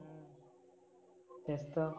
तेच तर.